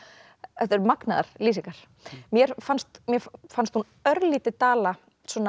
þetta eru magnaðar lýsingar mér fannst mér fannst hún örlítið dala